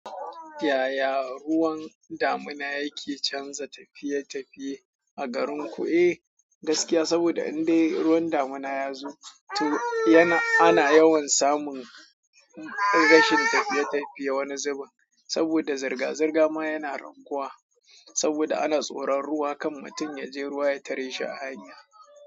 Yaya ruwan damina yake canza tafiye-tafiye a garinku? Eh, gaskiya saboda in dai ruwan damina ya zo, to yana-- ana yawan samun rashin tafiye-tafiye wani zubin saboda zirga-zirga ma yana raguwa saboda ana tsoron ruwa kan mutum ya je ruwa ya tare shi a hanya.